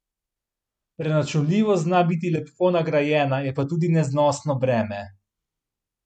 Preračunljivost zna biti lepo nagrajena, je pa tudi neznosno breme.